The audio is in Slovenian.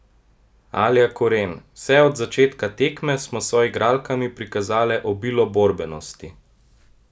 Alja Koren: 'Vse od začetka tekme smo s soigralkami prikazale obilo borbenosti.